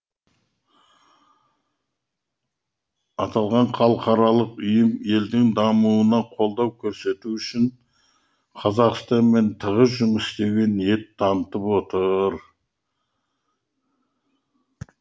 аталған халықаралық ұйым елдің дамуына қолдау көрсету үшін қазақстанмен тығыз жұмыс істеуге ниет танытып отыр